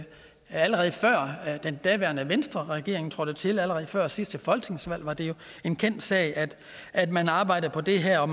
allerede da den daværende venstreregering trådte til og allerede før sidste folketingsvalg var det jo en kendt sag at man arbejdede på det her og